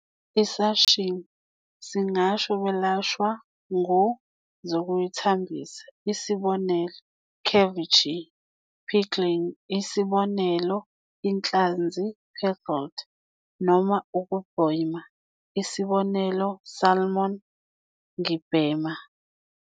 Isashimi. Singasho belashwa ngu zokuyithambisa "isib," ceviche, pickling "isib," inhlanzi pickled, noma ukubhema "isib," salmon ngibhema.